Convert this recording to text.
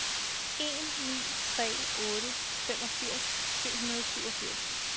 en ni tre otte femogfirs syv hundrede og syvogfirs